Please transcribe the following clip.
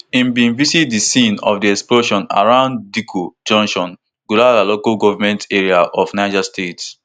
im bin visit di scene of di explosion around dikko junction gurara local goment area of niger state